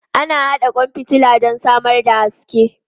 Ana haɗa kwan fitila don samar da haske.